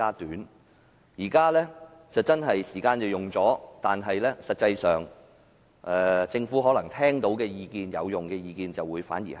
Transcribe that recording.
現時真的用了更多時間，但實際上政府聽到有用的意見反而更少。